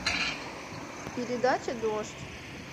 передача дождь